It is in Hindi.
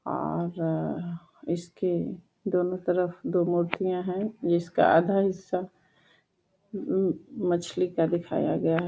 आ र र इसके दोनों तरफ दो हैं जिसका आधा हिसा एम ए म मछली का दिखाया गया है।